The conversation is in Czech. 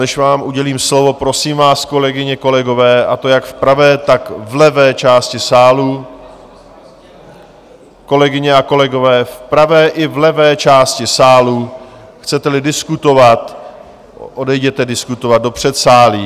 Než vám udělím slovo, prosím vás, kolegyně, kolegové, a to jak v pravé, tak v levé části sálu, kolegyně a kolegové, v pravé i levé části sálu, chcete-li diskutovat, odejděte diskutovat do předsálí.